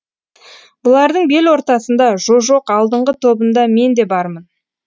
бұлардың бел ортасында жо жоқ алдыңғы тобында мен де бармын